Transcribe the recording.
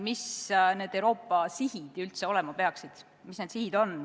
Mis need Euroopa sihid üldse olema peaksid, mis need sihid on?